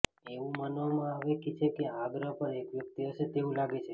એવું માનવામાં આવે છે કે આ ગ્રહ પર એક વ્યક્તિ હશે તેવું લાગે છે